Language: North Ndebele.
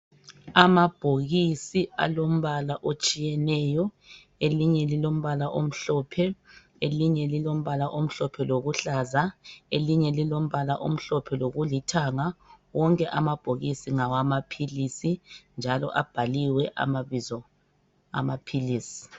Amabhokisi alombala otshiyeneyo elinye lilombala omhlophe elinye lilombala omhlophe lokuhlaza elinye lilombala omhlophe lokulithanga, wonke amabhokisi ngamaphilisi njalo, abhaliwe amabizo amaphilisi.